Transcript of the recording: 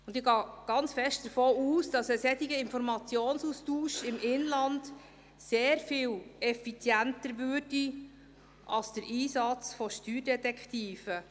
Ich gehe sehr stark davon aus, dass ein solcher Informationsaustausch im Inland sehr viel effizienter wäre als der Einsatz von Steuerdetektiven.